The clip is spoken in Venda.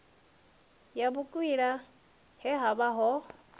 ya vhukwila he havha ho